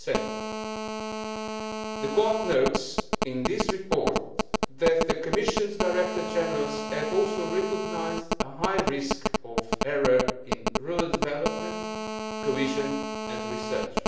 be 3. The Court notes in this report that the Commission's directors general have also recognised a high risk of error in rural development, cohesion and research.